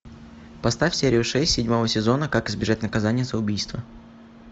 поставь серию шесть седьмого сезона как избежать наказания за убийство